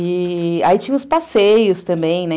E... aí tinha os passeios também, né?